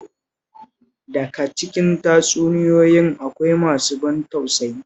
Daka cikin tatsuniyoyi akwai masu ban tausayi